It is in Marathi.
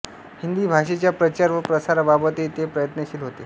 हिंदी भाषेच्या प्रचार व प्रसाराबाबतही ते प्रयत्नशील होते